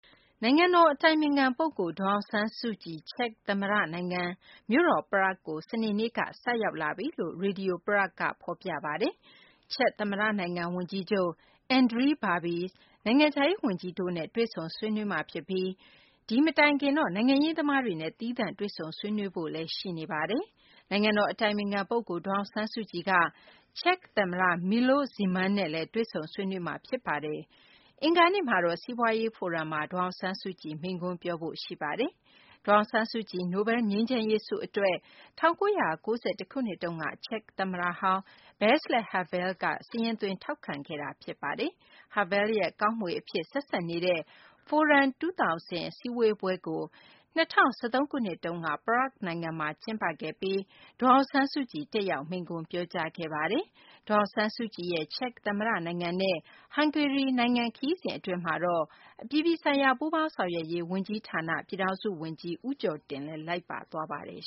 နိုင်ငံတော် အတိုင်ပင်ခံ ပုဂ္ဂိုလ် ဒေါ်အောင်ဆန်းစုကြည် ချက်သမ္မတ နိုင်ငံ မြို့တော် Prague ကို စနေနေ့က ဆိုက်ရောက်လာပြီလို့ Radio Praha က ဖော်ပြပါတယ်။ ချက်သမ္မတ နိုင်ငံ ဝန်ကြီးချုပ် Andrej Babis ၊ နိုင်ငံခြားရေး ဝန်ကြီး Tomas Petricek တို့နဲ့ တွေ့ဆုံဆွေးနွေးမှာ ဖြစ်ပါတယ်။ နိုင်ငံတော် အတိုင်ပင်ခံ ပုဂ္ဂိုလ် ဒေါ်အောင်ဆန်းစုကြည်က ချက် သမ္မတ Milos Zeman နဲ့လည်း တွေ့ဆုံဆွေးနွေးမှာ ဖြစ်ပါတယ်။ အင်္ဂါနေ့မှာတော့ စီးပွားရေး ဖိုရမ်မှာ ဒေါ်အောင်ဆန်းစုကြည် မိန့်ခွန်းပြောဖို့ ရှိပါတယ်။ ဒေါ်အောင်ဆန်းစုကြည် နိုဘယ်လ်ငြိမ်းချမ်းရေး ဆုအတွက် ၁၉၉၁ ခုနှစ်တုန်းက ချက်သမ္မတဟောင်း Vaclav Havel က စာရင်းသွင်း ထောက်ခံခဲ့တာ ဖြစ်ပါတယ်။ Havel ရဲ့ ကောင်းမွေအဖြစ် ဆက်စပ်နေတဲ့ Forum ၂၀၀၀ အစည်းအဝေးပွဲကို ၂၀၁၃ ခုနှစ်တုန်းက Prague မှာ ကျင်းပခဲ့ပြီး ဒေါ်အောင်ဆန်းစုကြည် တက်ရောက် မိန့်ခွန်းပြောကြားခဲ့ပါတယ်။ ဒေါ်အောင်ဆန်းစုကြည်ရဲ့ ချက်သမ္မတနိုင်ငံနဲ့ ဟန်ဂေရီ နိုင်ငံ ခရီးစဉ် အတွင်းမှာတော့ အပြည်ပြည်ဆိုင်ရာ ပူးပေါင်းဆောင်ရွက်ရေး ဝန်ကြီးဌာန ပြည်ထောင်စု ဝန်ကြီး ဦးကျော်တင်လည်း လိုက်ပါသွားပါတယ်